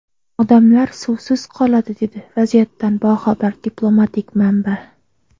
Odamlar suvsiz qoladi”, dedi vaziyatdan boxabar diplomatik manba.